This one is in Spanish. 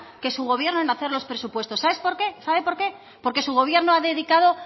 que su gobierno en hacer los presupuestos sabe por qué porque su gobierno ha dedicado